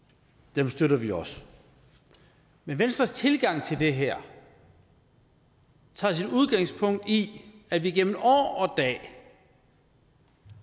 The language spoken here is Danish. dem støtter vi også men venstres tilgang til det her tager sit udgangspunkt i at vi igennem år og dag